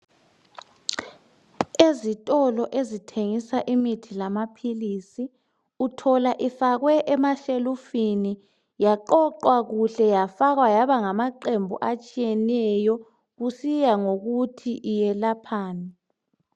Ezitolo ezithengisa imithi lamaphilisi uthola ifakwe emashelufini yaqoqwa kuhle yafakwa yaba ngamaqembu atshiyeneyo kusiya ngokuthi iyelaphani.